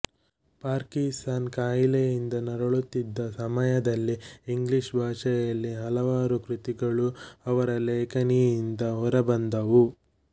Parkinson ಕಾಯಿಲೆಯಿಂದ ನರಳುತ್ತಿದ್ದ ಸಮಯದಲ್ಲೇ ಇಂಗ್ಲಿಷ್ ಭಾಷೆಯಲ್ಲಿ ಹಲವಾರು ಕೃತಿಗಳೂ ಅವರ ಲೇಖನಿಯಿಂದ ಹೊರಬಂದವು